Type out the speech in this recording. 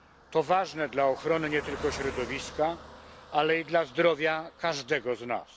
To ważne dla ochrony nie tylko środowiska, ale i dla zdrowia każdego z nas.